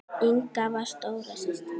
Inga var stóra systir mín.